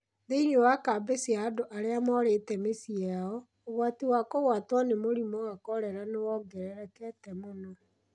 Thĩinĩ wa kambĩ cia andũ arĩa morĩte mĩciĩ yao, ũgwati wa kũgwatwo nĩ mũrimũ wa korera nĩ wongererekete mũno.